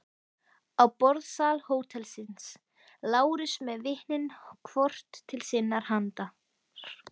Í borðsal hótelsins: Lárus með vitnin hvort til sinnar handar.